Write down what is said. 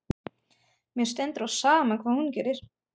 Mér stendur á sama hvað hún gerir.